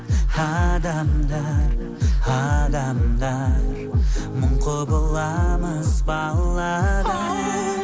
адамдар адамдар мың құбыламыз баладай оу